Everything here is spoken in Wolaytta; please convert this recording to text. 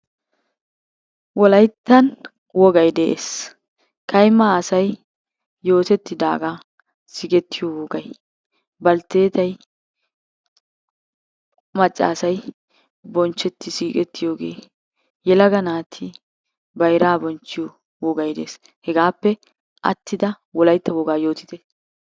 Wolayttan wogay de'ees. Kayma asay yootettidaagaa sigettiyo wogay, baltteetay macca asay bonchchetti siiqettiyogee, yelaga naati bayraa bonchchiyo wogay de'ees. Hegaappe attida wolaytta wogaa yootite.